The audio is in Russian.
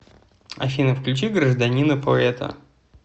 афина включи гражданина поэта